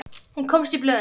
Hún komst í blöðin.